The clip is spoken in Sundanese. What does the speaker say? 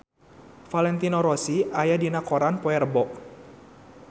Valentino Rossi aya dina koran poe Rebo